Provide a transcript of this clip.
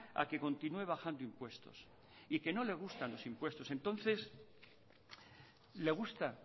a que continúe bajando impuestos t que no le gustan los impuestos entonces le gusta